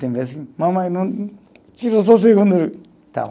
Tem vez que mamãe não tira só o segundo